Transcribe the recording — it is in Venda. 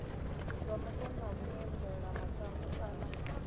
zwa mupo na vhuendelamashango kana